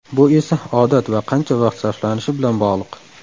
Bu esa odat va qancha vaqt sarflanishi bilan bog‘liq.